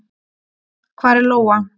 Hvar er Lóa?